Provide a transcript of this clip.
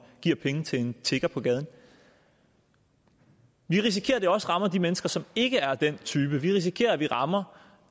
giver penge til en tigger på gaden vi risikerer at det også rammer de mennesker som ikke er af den type vi risikerer at vi rammer